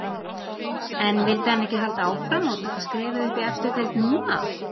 En vildi hann ekki halda áfram og taka skrefið upp í efstu deild núna?